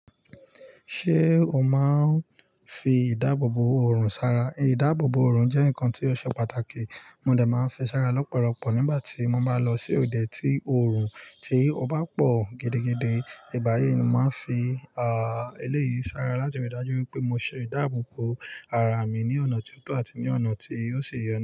Ṣé o máa ń fi ìdáàbòbò òòrùn sára? Ìdáàbòbò òòrùn jẹ́ nǹkan tí ó ṣe pàtàkì. Mo dẹ̀ máa ń fi sára lọ́pọ̀lọpọ̀ nígbà tí mo máa ń lọ sí òde tí òòrùn ti o bá pọ̀ gidigidi. Ìgbáyi ni màá fi, à, eléyìí sára láti ríi dájú wípé mo ṣe ìdáàbòbò ara mi ní ọ̀nà tó tọ́ àti ní ọ̀nà tí ó ṣi ye.